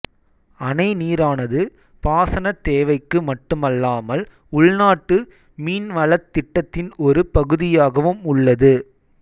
அணை நீரானது பாசனத் தேவைக்கு மட்டுமல்லாமல் உள்நாட்டு மீன்வளத் திட்டத்தின் ஒரு பகுதியாகவும் உள்ளது